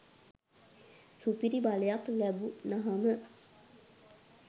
සුපිරි බලයක් ලැබුනහම